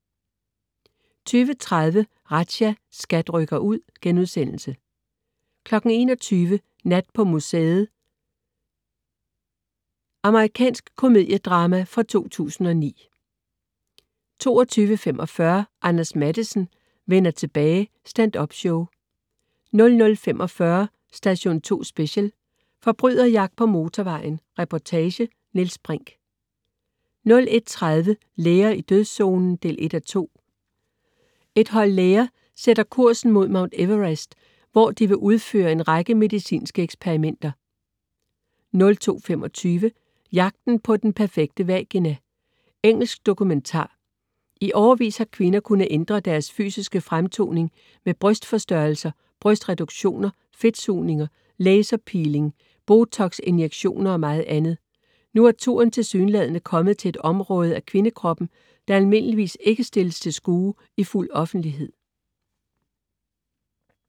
20.30 Razzia. SKAT rykker ud* 21.00 Nat på museet 2. Amerikansk komedie-drama fra 2009 22.45 Anders Matthesen: Vender tilbage. Standup-show 00.45 Station 2 Special: Forbryderjagt på motorvejen. Reportage. Niels Brinch 01.30 Læger i dødszonen 1:2. Et hold sætter læger kursen mod Mount Everest, hvor de vil udføre en række medicinske eksperimenter 02.25 Jagten på den perfekte vagina. Engelsk dokumentar. I årevis har kvinder kunnet ændre deres fysiske fremtoning med brystforstørrelser, brystreduktioner, fedtsugninger, laserpeeling, botox-injektioner og meget andet. Nu er turen tilsyneladende kommet til et område af kvindekroppen, der almindeligvis ikke stilles stil skue i fuld offentlighed